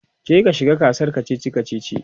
je ka shiga gasar kachichi kachichi!